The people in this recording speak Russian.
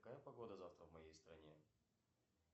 какая погода завтра в моей стране